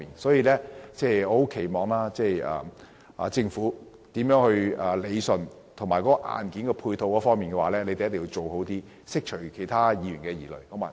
所以，我希望政府能夠理順問題，在硬件配套方面做得更好，釋除其他議員的疑慮。